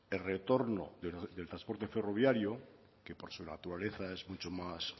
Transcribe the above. el retorno del transporte ferroviario que por su naturaleza es mucho más